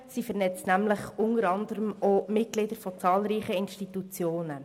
Sie vernetzt nämlich unter anderem auch die Mitglieder zahlreicher Institutionen.